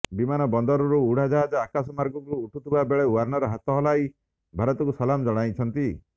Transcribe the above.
ବିମାନବନ୍ଦରରୁ ଉଡାଜାହାଜ ଆକାଶମାର୍ଗକୁ ଉଠୁଥିବା ବେଳେ ଓ୍ବାର୍ଣ୍ଣର ହାତ ହଲାଇ ଭାରତକୁ ସଲାମ ଜଣାଇଛନ୍ତି